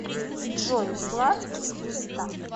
джой златкис пизда